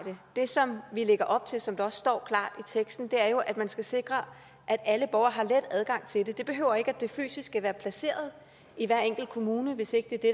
det som vi lægger op til og som der også står klart i teksten er jo at man skal sikre at alle borgere har let adgang til det det betyder ikke at det fysisk skal være placeret i hver enkelt kommune hvis ikke det er det